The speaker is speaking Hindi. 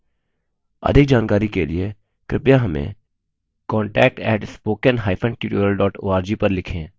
अधिक जानकारी के लिए कृपया हमें contact @spoken hyphen tutorial dot org पर लिखें